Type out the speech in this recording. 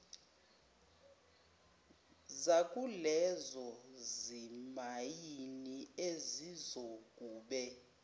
zakulezo zimayini ezizokube